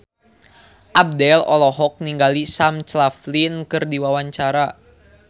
Abdel olohok ningali Sam Claflin keur diwawancara